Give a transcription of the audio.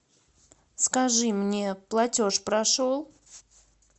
скажи мне платеж прошел